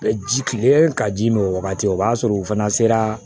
Bɛ ji kile ka ji min o wagati o b'a sɔrɔ u fana sera